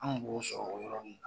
Anw b'o sɔrɔ o yɔrɔ de la